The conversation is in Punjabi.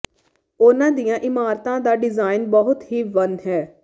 ਉਨ੍ਹਾਂ ਦੀਆਂ ਇਮਾਰਤਾਂ ਦਾ ਡਿਜ਼ਾਈਨ ਬਹੁਤ ਹੀ ਵੰਨ ਹੈ